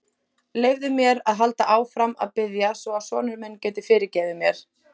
Leyfðu mér að halda áfram að biðja svo að sonur minn geti fyrirgefið mér.